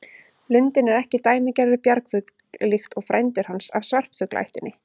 Lundinn er ekki dæmigerður bjargfugl líkt og frændur hans af svartfuglaættinni.